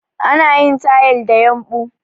Ana yin tayal da yumbu